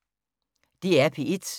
DR P1